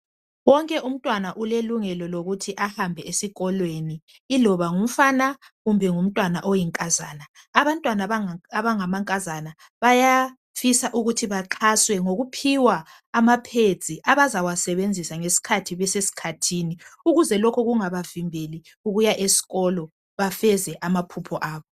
Wonke umntwana ulelungelo lokuthi ahambe esikolweni iloba ngumfana kumbe ngumntwana oyinkazana. Abantwana abanga mankazana bayafisa ukuthi baxhaswe ngokuphiwa ama pads abazawa sebenzisa ngesikhathi besesikhathini ukuze lokhu kungabavimbeli ukuya esikolo bafeze amaphupho abo .